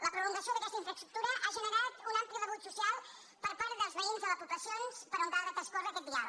la prolongació d’aquesta infraestructura ha generat un ampli rebuig social per part dels veïns de les poblacions per on ha de transcórrer aquest vial